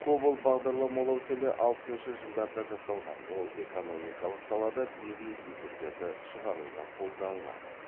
кобол бағдарламалау тілі алпысыншы жылдарда жасалған ол экономикалық салада бизнес есептерді шығаруда қолданылады